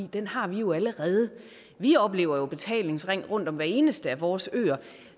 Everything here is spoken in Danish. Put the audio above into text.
den har vi jo allerede vi oplever jo betalingsring rundt om hver eneste af vores øer